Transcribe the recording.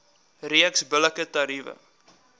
reeks billike tariewe